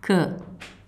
K.